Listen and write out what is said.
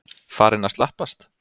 Farinn að slappast?